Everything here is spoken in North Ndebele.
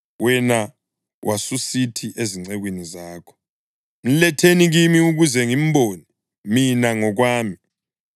Wena wasusithi ezincekwini zakho, ‘Mletheni kimi ukuze ngimbone mina ngokwami.’